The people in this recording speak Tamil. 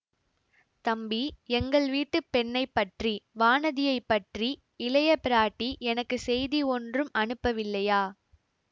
தம்பி எங்கள் வீட்டு பெண்ணைப்பற்றி வானதியைப் பற்றி இளைய பிராட்டி எனக்கு செய்தி ஒன்றும் அனுப்பவில்லையா